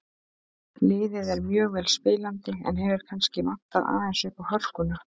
Liðið er mjög vel spilandi en hefur kannski vantað aðeins uppá hörkuna.